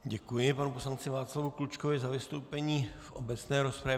Děkuji panu poslanci Václavu Klučkovi za vystoupení v obecné rozpravě.